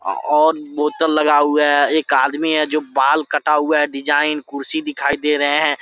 और बोतल लगा हुआ है एक आदमी है जो बाल कटा हुआ है डिजाइन कुर्सी दिखाई दे रहे हैं।